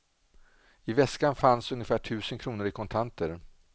I väskan fanns ungefär tusen kronor i kontanter.